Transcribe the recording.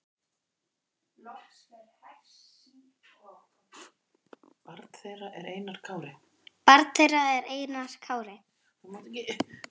Barn þeirra er Einar Kári.